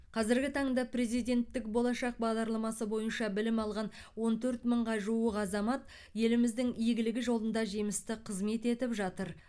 қазіргі таңда президенттік болашақ бағдарламасы бойынша білім алған он төрт мыңға жуық азамат еліміздің игілігі жолында жемісті қызмет етіп жатыр